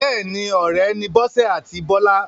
Bẹ́ẹ̀ni, ọ̀rẹ́ ni Bọ́sẹ̀ àti Bọ́lá.